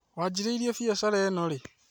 Waanjirie mbiacara ĩno rĩ?